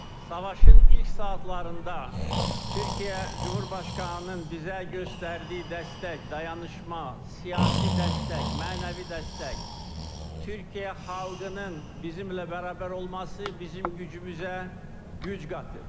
Savaşın ilk saatlarında Türkiyə Cümhurbaşqanının bizə göstərdiyi dəstək, dayanışma, siyasi dəstək, mənəvi dəstək, Türkiyə xalqının bizimlə bərabər olması bizim gücümüzə güc qatır.